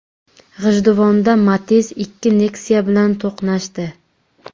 G‘ijduvonda Matiz ikki Nexia bilan to‘qnashdi.